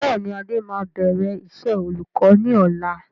Bẹ́ẹ̀ni adé máa bẹ̀rẹ̀ iṣẹ́ olùkọ́ ni ọ̀la.